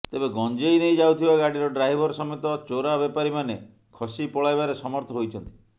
ତେବେ ଗଂଜେଇ ନେଇ ଯାଉଥିବା ଗାଡିର ଡ୍ରାଇଭର ସମେତ ଚୋରା ବେପାରୀମାନେ ଖସି ପଳାଇବାରେ ସମର୍ଥ ହୋଇଛନ୍ତି